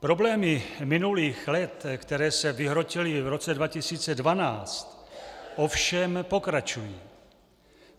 Problémy minulých let, které se vyhrotily v roce 2012, ovšem pokračují.